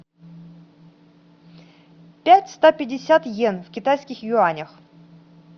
пять сто пятьдесят иен в китайских юанях